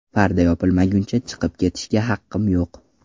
Parda yopilmaguncha chiqib ketishga haqqim yo‘q.